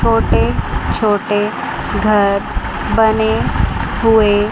छोटे छोटे घर बने हुए--